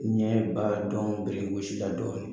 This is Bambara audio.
Ɲɛ ba dɔn o ye dɔɔnin ye.